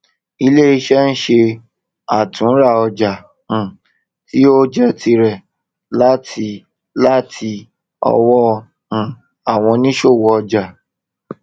iléiṣẹ ń ṣe àtúnrà ọjà um tí ó jé tirẹ láti láti ọwọ um àwọn òníṣòwò ọjà